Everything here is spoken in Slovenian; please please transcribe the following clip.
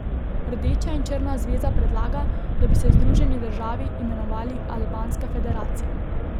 Rdeča in črna zveza predlaga, da bi se združeni državi imenovali Albanska federacija.